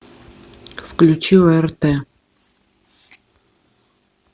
включи орт